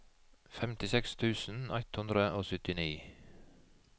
femtiseks tusen ett hundre og syttini